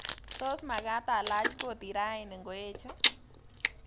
Tos magaat alach kotit raini ngoeche